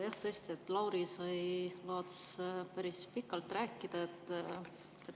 Jah, tõesti, Lauris Laats sai päris pikalt rääkida.